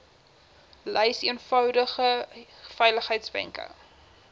lys eenvoudige veiligheidswenke